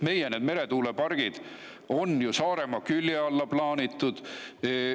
Meie meretuulepargid on ju Saaremaa külje alla plaanitud.